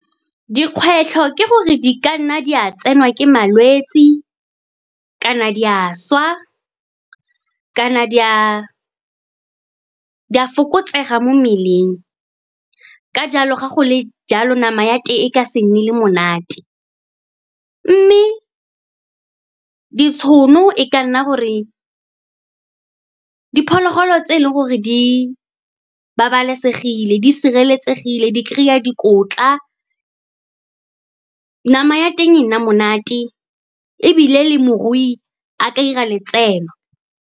Dikgwetlho ke gore di ka nna di a tsenwa ke malwetse, kana di a swa, kana di a fokotsega mo mmeleng. Ka jalo, ga go le jalo, nama ya teng e ka se nne le monate. Mme ditšhono e ka nna gore diphologolo tse e leng gore di babalesegile, di sireletsegile, di kry-a dikotla, nama ya teng e nna monate, ebile le morui a ka 'ira letseno.